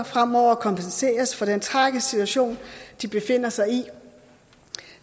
fremover kompenseres for den tragiske situation de befinder sig i